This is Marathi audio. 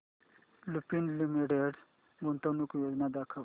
लुपिन लिमिटेड गुंतवणूक योजना दाखव